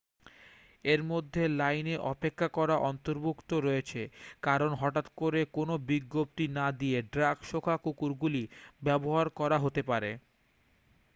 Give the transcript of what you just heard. এর মধ্যে লাইনে অপেক্ষা করা অন্তর্ভুক্ত রয়েছে কারণ হঠাৎ করে কোনও বিজ্ঞপ্তি না দিয়ে ড্রাগ-শোঁকা কুকুরগুলি ব্যবহার করা হতে পারে